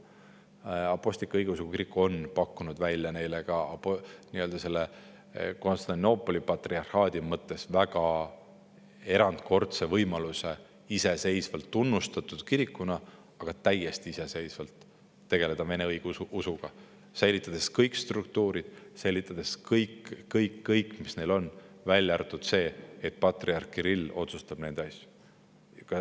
Aga Eesti Apostlik-Õigeusu Kirik on pakkunud välja neile ka Konstantinoopoli patriarhaadi mõttes väga erandkordse võimaluse olla iseseisvalt tunnustatud kirik, aga täiesti iseseisvalt tegeleda vene õigeusuga, säilitades kõik struktuurid, mis neil on, välja arvatud see, et patriarh Kirill otsustab nende asju.